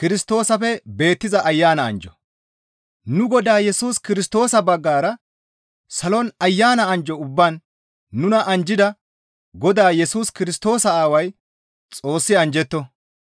Nu Godaa Yesus Kirstoosa baggara salon Ayana anjjo ubbaan nuna anjjida Godaa Yesus Kirstoosa Aaway Xoossi anjjetto.